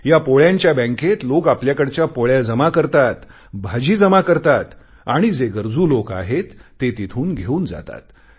या पोळ्यांच्या बँकेत लोक आपल्याकडच्या पोळ्या जमा करतात भाजी जमा करतात आणि जे गरजू लोक आहेत ते तिथून घेऊन जातात